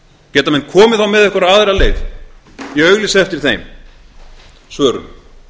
geta menn komið þá með einhverja aðra leið ég auglýsi eftir þeim svörum